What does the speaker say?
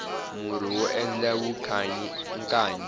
murhi wo endla vukanyi i nkanyi